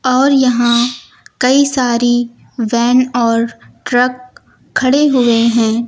और यहां कई सारी वैन और ट्रक खड़े हुए हैं।